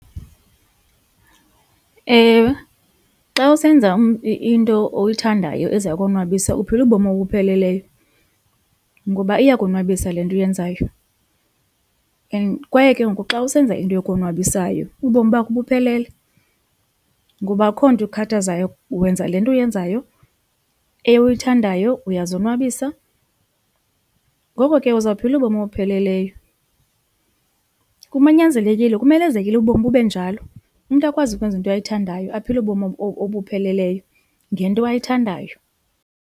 Ewe, xa usenza into oyithandayo eza konwabisa uphila ubomi obupheleleyo ngoba iyakonwabisa le nto uyenzayo and kwaye ke ngoku xa usenza into ekonwabisayo ubomi bakho buphelele ngoba akukho nto ikukhathazayo wenza le nto uyenzayo oyithandayo uyazonwabisa ngoko ke uzawuphila ubomi obupheleleyo. Kunyanzelekile, kumelezekile ubomi bube njalo umntu akwazi ukwenza into ayithandayo aphile ubomi obupheleleyo ngento ayithandayo.